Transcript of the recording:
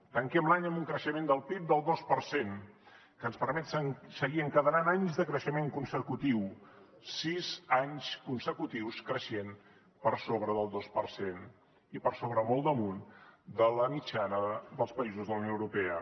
tanquem l’any amb un creixement del pib del dos per cent que ens permet seguir encadenant anys de creixement consecutiu sis anys consecutius creixent per sobre del dos per cent i per sobre molt damunt de la mitjana dels països de la unió europea